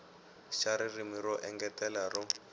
xa ririmi ro engetela ro